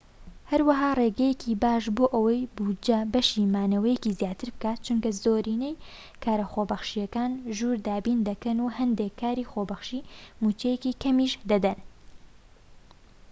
هەروەها ڕێگەیەکی باشە بۆ ئەوەی بوجە بەشی مانەوەیەکی زیاتر بکات چونکە زۆرینەی کارە خۆبەخشیەکان ژوور دابین دەکەن و هەندێك کاری خۆبەخشی موچەیەکی کەمیش دەدەن